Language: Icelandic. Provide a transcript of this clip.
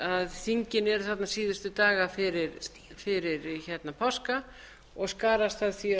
þingin eru þarna síðustu daga fyrir páska og skarast því